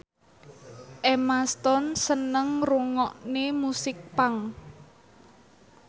Emma Stone seneng ngrungokne musik punk